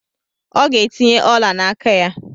Ọ ga-etinye ọla n'aka ya.